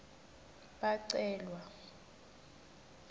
bacelwa